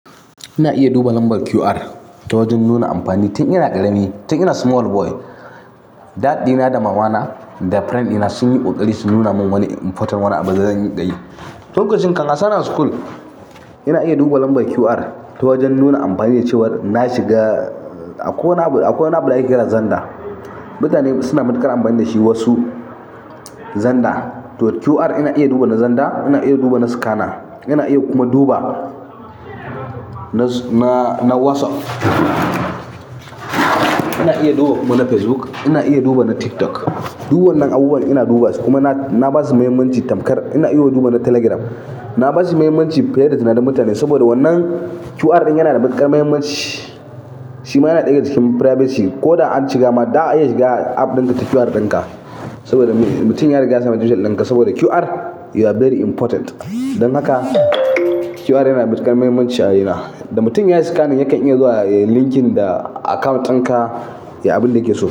Ina iya duba lambar QR ta wajen nuna amfani. Tun ina ƙarami, tun ina small boy, dad dina da mamana da friend dina sun yi ƙoƙari su nuna min wani important wani abu da zan yi. Lokacin, an sanan school, ina iya duba lambar QR ta wajen nuna amfani da cewar na shiga a kowa na, a kowa na bala'i kiran Zanda. Mutane suna matuƙar amfani da shi wasu, Zanda. To QR ina iya duba na Zanda, ina iya duba na scanner, ina iya kuma duba nana WhatsApp. Ina iya duba kuma na Facebook, ina iya duba na TikTok. Du wannan abubuwan ina duba su kuma na na ba su mahimmanci tamkar. Ina iya duba na Telegram. Na ba su mahimmanci fiye da tunanin mutane saboda wannan QR ɗin yana da matuƙar mahimmanci. Shi ma yana ɗaya cikin privacy. Ko da an shiga ma, za'a iya shiga app ɗin ka ta QR ɗin ka saboda mutum ya riga ya samu details ɗin ka saboda QR you are very important. Don haka QR yana da matuƙar mahimmanci a rayuna. Na ba su mahimmanci fiye da tunanin mutane saboda wannan QR ɗin yana da matuƙar mahimmanci. Shi ma yana ɗaya daga cikin privacy. Ko da an shiga ma, za'a iya shiga app ɗinka ta QR ɗin ka saboda mutum ya riga ya samu details ɗin ka saboda QR are very important.